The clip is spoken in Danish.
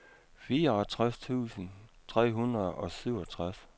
fireogtres tusind tre hundrede og syvogtres